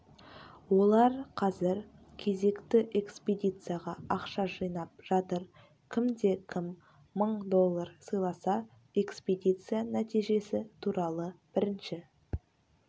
олар қазір кезекті экспедицияға ақша жинап жатыр кімде-кім мың доллар сыйласа экспедиция нәтижесі туралы бірінші